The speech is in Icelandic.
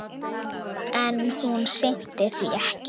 En hún sinnti því ekki.